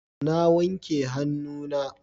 Na wanke hannuna.